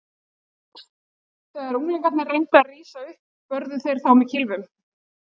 Þegar unglingarnir reyndu að rísa upp börðu þeir þá með kylfunum.